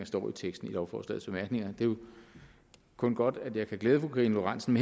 står i teksten i lovforslagets bemærkninger det er jo kun godt at jeg kan glæde fru karina lorentzen